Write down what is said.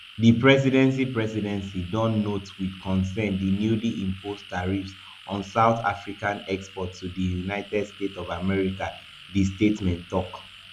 di presidency presidency don note wit concern di newly imposed tariffs on south african exports to di united states of america di statement tok